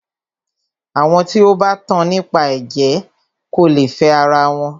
Àwọn tí o bá tan nípa ẹ̀jẹ̀ kò lè fẹ ara wọn.